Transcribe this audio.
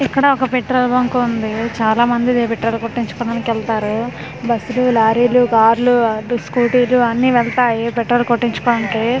ఇక్కడ ఒక petrol bunk ఉంది చాలా మంది పెట్రోల్ కొట్టించుకోడానికి వెళ్తారు బస్సు లు లారీ లు కార్లు అటు స్కూటీలు అన్ని వెళ్తాయి పెట్రోల్ కొట్టించుకోనికి.